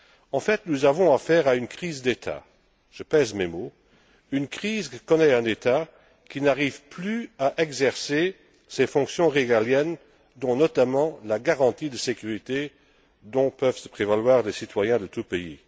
En fait, nous avons à faire à une crise d'État. Je pèse mes mots, une crise que connaît un État qui n'arrive plus à exercer ses fonctions régaliennes dont, notamment, la garantie de sécurité dont peuvent se prévaloir les citoyens de tous pays.